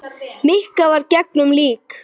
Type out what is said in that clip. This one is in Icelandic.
Mikka var engum lík.